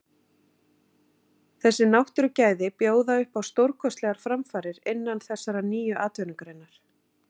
Þessi náttúrugæði bjóða upp á stórkostlegar framfarir innan þessarar nýju atvinnugreinar.